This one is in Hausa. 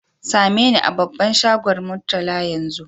Same ni a babban shagon Murtala yanzu!